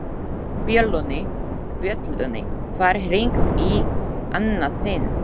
Bjöllunni var hringt í annað sinn.